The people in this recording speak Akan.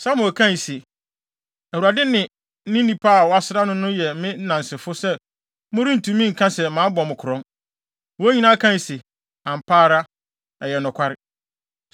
Samuel kae se, “ Awurade ne ne onipa a wasra no no yɛ me nnansefo sɛ morentumi nka sɛ mabɔ mo korɔn.” Wɔn nyinaa kae se, “Ampa ara, ɛyɛ nokware!”